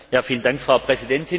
Frau Präsidentin!